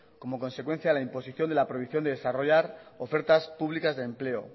como consecuencia a la imposición de la prohibición de desarrollar ofertas públicas de empleo